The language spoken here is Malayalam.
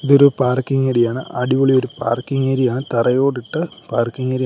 ഇതൊരു പാർക്കിംഗ് ഏരിയ ആണ് അടിപൊളി ഒരു പാർക്കിംഗ് ഏരിയയാണ് തറയോടിട്ട പാർക്കിംഗ് ഏരിയ ആണ്.